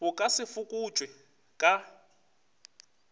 bo ka se fokotšwe ka